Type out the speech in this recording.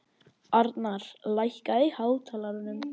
Almar, lækkaðu í hátalaranum.